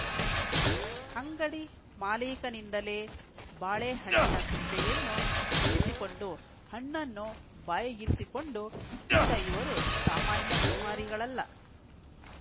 ಅಂಗಡಿ ಮಾಲೀಕನಿಂದಲೇ ಬಾಳೆಹಣ್ಣಿನ ಸಿಪ್ಪೆಯನ್ನು ಬಿಡಿಸಿಕೊಂಡು ಹಣ್ಣನ್ನು ಬಾಯಿಗಿರಿಸಿಕೊಂಡು ತಿಂದ ಇವರು ಸಾಮಾನ್ಯ ಸೋಮಾರಿಗಳಲ್ಲ